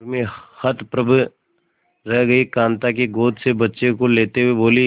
उर्मी हतप्रभ रह गई कांता की गोद से बच्चे को लेते हुए बोली